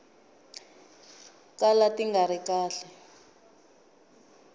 kala ti nga ri kahle